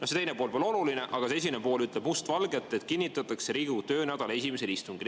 See teine pool pole oluline, aga esimene pool ütleb must valgel, et kinnitatakse Riigikogu töönädala esimesel istungil.